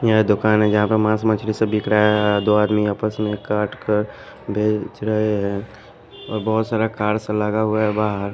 यह दुकान हैजहां पर मांस मछली से बिक रहा है दो आदमी आपस में काट कर भेज रहे हैंऔर बहुत सारा कार्स लगा हुआ है बाहर --